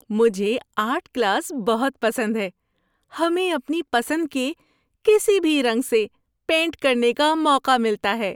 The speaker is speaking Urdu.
مجھے آرٹ کلاس بہت پسند ہے۔ ہمیں اپنی پسند کے کسی بھی رنگ سے پینٹ کرنے کا موقع ملتا ہے۔